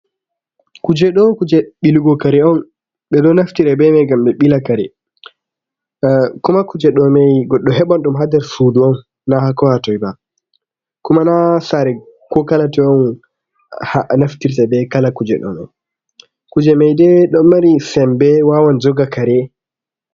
Kuje dow kuje ɓiligo kare on ɓe ɗo naftire bei mai ngam ɓe ɓila kare. Kuma kuje ɗo mai goɗɗo heɓan ɗum ha nder sudu on na hakala hatoi ba kuma na sare ko kala toi on naftirta bei kala kuje ɗomai. Kuje mai nden ɗon mari sembe wawon joga kare.